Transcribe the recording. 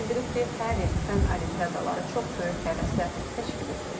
O bildirib ki, hər il fənn olimpiadaları çox böyük həvəslə təşkil edilir.